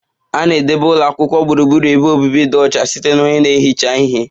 A na-edebe ụlọ akwụkwọ gburugburu ebe obibi dị ọcha site na onye na-ehicha ihe